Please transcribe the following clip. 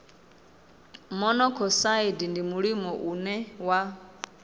monokosaidi ndi mulimo une wa